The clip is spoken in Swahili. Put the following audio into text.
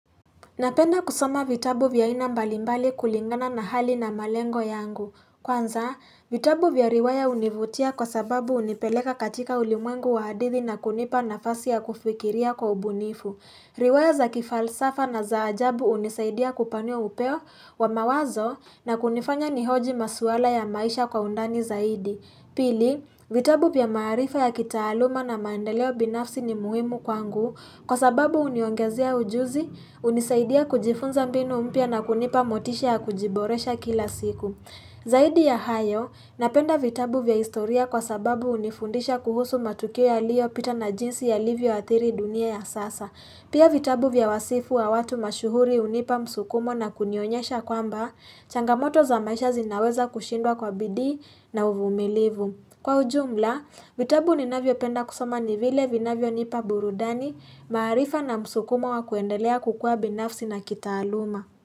Napenda kusoma vitabu vya aina mbalimbali kulingana na hali na malengo yangu. Kwanza, vitabu vya riwaya hunivutia kwa sababu hunipeleka katika ulimwengu wa hadithi na kunipa nafasi ya kufikiria kwa ubunifu. Riwaya za kifalsafa na za ajabu hunisaidia kupanua upeo wa mawazo na kunifanya nihoji maswala ya maisha kwa undani zaidi. Pili, vitabu pia maarifa ya kitaaluma na mandeleo binafsi ni muhimu kwangu kwa sababu huniongezea ujuzi hunisaidia kujifunza mbinu mpya na kunipa motisha ya kujiboresha kila siku. Zaidi ya hayo napenda vitabu vya historia kwa sababu hunifundisha kuhusu matukio yaliopita na jinsi yalivyo athiri dunia ya sasa. Pia vitabu vya wasifu wa watu mashuhuri hunipa msukumo na kunionyesha kwamba changamoto za maisha zinaweza kushindwa kwa bidii na uvumilivu. Kwa ujumla vitabu ninavyopenda kusoma ni vile vinavyonipa burudani maarifa na msukumo wa kuendelea kukua binafsi na kitaaluma.